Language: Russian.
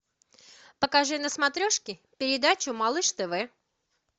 покажи на смотрешке передачу малыш тв